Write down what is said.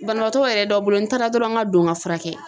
Banabaatɔw yɛrɛ dɔ bolo n taara dɔrɔn n ka don ka fura kɛ.